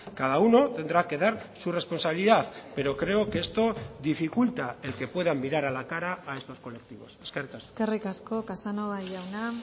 cada uno tendrá que dar su responsabilidad pero creo que esto dificulta el que puedan mirar a la cara a estos colectivos eskerrik asko eskerrik asko casanova jauna